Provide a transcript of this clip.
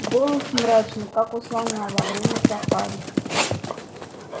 голос мрачный как у слона во время сафари